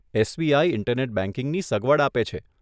SBI internet બેંકિંગની સગવડ આપે છે.